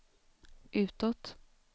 utåt